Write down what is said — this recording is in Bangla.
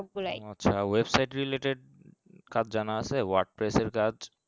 আচ্ছা website related কাজ জানা word base এর কাজ